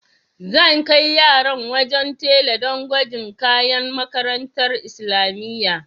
Zan kai yaran wajen tela do gwajin kayan makarantar islamiyya.